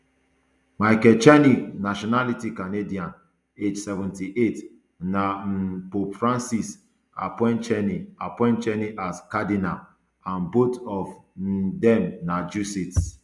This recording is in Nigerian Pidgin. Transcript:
michael czerny nationality canadian age seventy-eight na um pope francis appoint czerny appoint czerny as cardinal and both of um dem na jesuits